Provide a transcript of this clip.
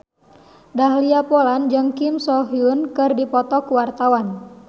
Dahlia Poland jeung Kim So Hyun keur dipoto ku wartawan